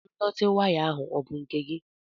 Ndọtị waya ahụ ọ bụ nke gị?